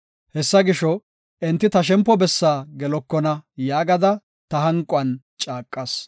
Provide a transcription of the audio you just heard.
Hessa gisho, “Enti ta shempo bessaa gelokona” yaagada ta hanquwan caaqas.